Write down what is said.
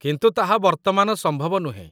କିନ୍ତୁ ତାହା ବର୍ତ୍ତମାନ ସମ୍ଭବ ନୁହେଁ।